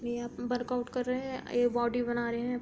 ये यहाँ वर्कआउट कर रहे हैं और ये बॉडी बना रहे हैं।